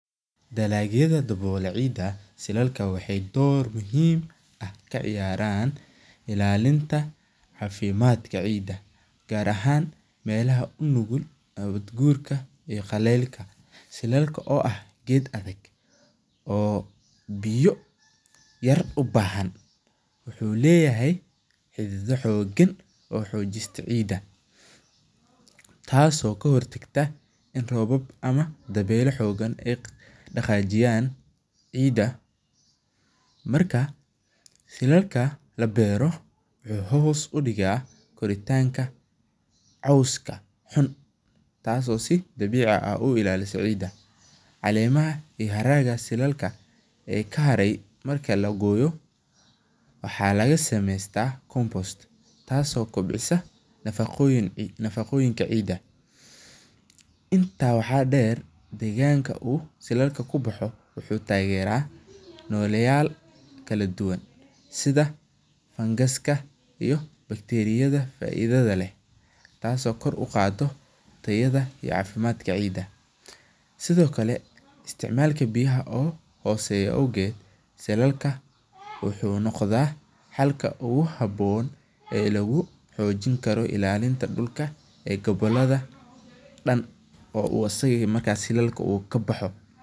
Dalagyada dawola cida waxee dor muhiim ah ka ciyaran ilalinta cafimaadka ciida, biyo yar u bahan wuxuu leyahay xidido xogan oo xojista ciida tas oo ka hortagta in robab ama dawela xogan ee daqajiyan ciida marka labeero wuxuu hos udiga koritanka coska tas oo si dabici ah u ilaliso ciida, calemaha kahare marki lagoyo waxaa laga sameystaa nafaqoyinka cida, intaa waxaa deer deganka silalka kubaxo wuxuu tagera noleyal kala duwan sitha bacteriyada leh oo kor uqado ciida sithokale isticmalka biyaha oo hoseyo awogeed silalka wuxuu sameyaa habon ee lagu xojin karo gabaladha dan in isaga u kabaxo.